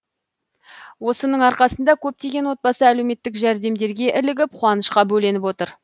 осының арқасында көптеген отбасы әлеуметтік жәрдемдерге ілігіп қуанышқа бөленіп отыр